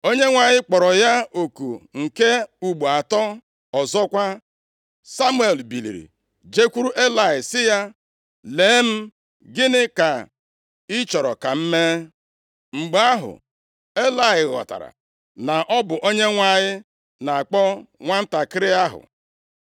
Onyenwe anyị kpọrọ ya oku nke ugbo atọ; ọzọkwa Samuel biliri jekwuru Elayị sị ya, “Lee m, gịnị ka ị chọrọ ka m mee?” Mgbe ahụ, Elayị ghọtara na ọ bụ Onyenwe anyị na-akpọ nwantakịrị ahụ,